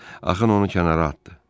Axın onu kənara atdı.